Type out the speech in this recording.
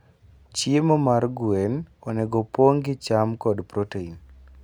Chiemo mar gwen onego opong' gi cham kod protein.